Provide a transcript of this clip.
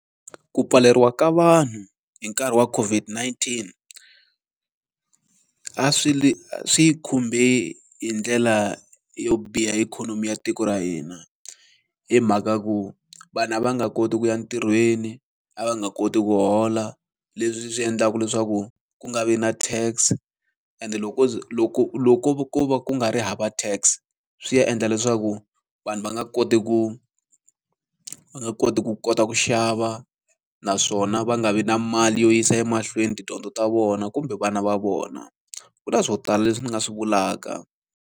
Ku pfaleriwa ka vanhu hi nkarhi wa COVID-19, a swi swi yi khumbe hi ndlela yo biha ikhonomi ya tiko ra hina. Hi mhaka ku vanhu a va nga koti ku ya ntirhweni, a va nga koti ku hola, leswi swi endlaka leswaku ku nga vi na tax ende loko loko loko ko ko va ku nga ri hava tax swi ya endla leswaku vanhu va nga koti ku va nga koti ku kota ku xava, naswona va nga vi na mali yo yisa emahlweni tidyondzo ta vona kumbe vana va vona. Ku na swo tala leswi ni nga swi vulaka.